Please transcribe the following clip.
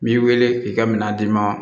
N b'i weele k'i ka minɛn d'i ma